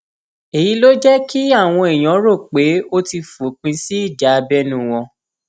èyí ló jẹ kí àwọn èèyàn rò pé ó ti fòpin sí ìjà abẹnú wọn